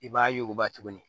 I b'a yuguba tuguni